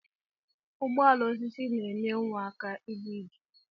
Ụgbọala osisi na enye nwa aka iga ije.